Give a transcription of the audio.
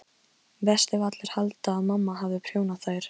Verst ef allir halda að mamma hafi prjónað þær.